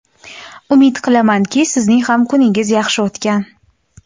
Umid qilamanki sizning ham kuningiz yaxshi o‘tgan.